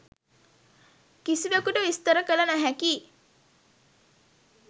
කිසිවෙකුට විස්තර කළ නොහැකියි.